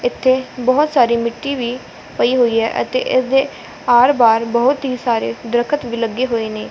ਇੱਥੇ ਬੋਹੁਤ ਸਾਰੀ ਮਿੱਟੀ ਵੀ ਪਈ ਹੋਈ ਹੈ ਅਤੇ ਇਸਦੇ ਆਰ ਬਾਹਰ ਬਹੁਤ ਹੀ ਸਾਰੇ ਦ੍ਰਖਤ ਵੀ ਲੱਗੇ ਹੋਏ ਨੇ।